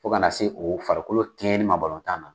Fo kana se o farikolo kɛɲɛni ma balɔntan na